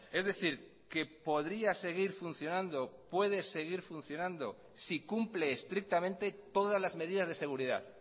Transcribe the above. es decir que podría seguir funcionando puede seguir funcionando si cumple estrictamente todas las medidas de seguridad